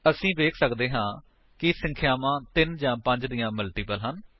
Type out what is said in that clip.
ਅਸੀ ਵੇਖ ਸੱਕਦੇ ਹਾਂ ਕਿ ਸੰਖਿਆਵਾਂ 3 ਜਾਂ 5 ਦੀਆਂ ਮਲਟੀਪਲ ਹਾਂ